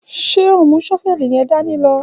Ṣẹ àhún mú ṣọfẹlí yẹ̀n dàní lọ?